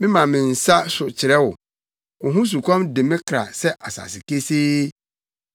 Mema me nsa so kyerɛ wo; wo ho sukɔm de me kra sɛ asase kesee.